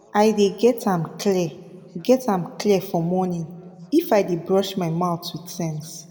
i dey get am clear get am clear for morning if i dey brush my mouth with sense